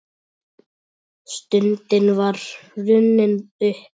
Stundin var runnin upp.